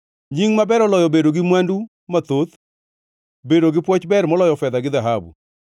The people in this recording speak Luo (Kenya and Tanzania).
Nying maber oloyo bedo gi mwandu mathoth; bedo gi pwoch ber moloyo fedha gi dhahabu.